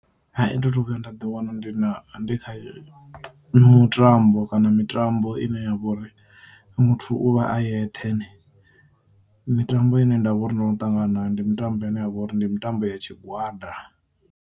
Hai thi thu vhuya nda ḓi wana ndi na ndi kha mutambo kana mitambo ine ya vha uri muthu u vha a yeṱhe, mitambo ine ndavha uri ndono ṱangana nayo ndi mitambo ine yavha uri ndi mitambo ya tshi gwada.